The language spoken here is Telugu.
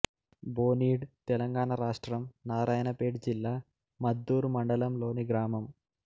బోనీడ్ తెలంగాణ రాష్ట్రం నారాయణపేట జిల్లా మద్దూరు మండలంలోని గ్రామం